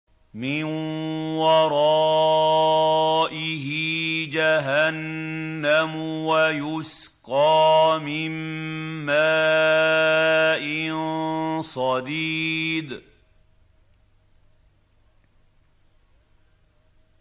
مِّن وَرَائِهِ جَهَنَّمُ وَيُسْقَىٰ مِن مَّاءٍ صَدِيدٍ